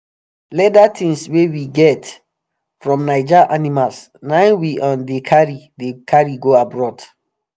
leather tings wey we get um from naija animal na hin we um dey dey carry go abroad